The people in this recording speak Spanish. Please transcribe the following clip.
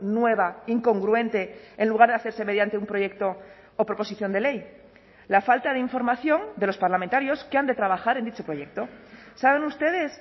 nueva incongruente en lugar de hacerse mediante un proyecto o proposición de ley la falta de información de los parlamentarios que han de trabajar en dicho proyecto saben ustedes